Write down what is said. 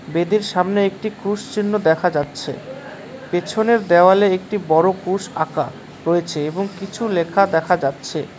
বেদের সামনে একটি ক্রুশ চিহ্ন দেখা যাচ্ছে পেছনের দ্যাওয়ালে একটি বড় ক্রুশ আঁকা রয়েছে এবং কিছু লেখা দেখা যাচ্ছে।